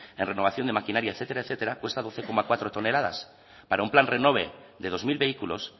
en renovación de maquinaria etcétera etcétera cuesta doce coma cuatro toneladas para un plan renove de dos mil vehículos